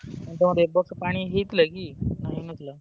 ତମର ଏବର୍ଷ ପାଣି ହେଇଥିଲା କି ନା ହେଇନଥିଲା?